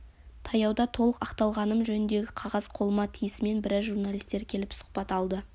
таяуда толық ақталғаным жөніндегі қағаз қолыма тиісімен біраз журналистер келіп сұхбат алды